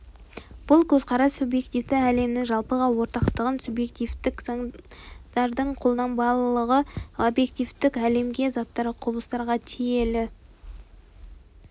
бұл көзқарас субъективтік әлемнің жалпыға ортақтығын субъективтік заңдардың қолданбалылығын объективтік әлемге заттарға құбылыстарға телиді